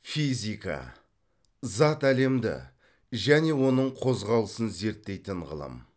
физика зат әлемді және оның қозғалысын зерттейтін ғылым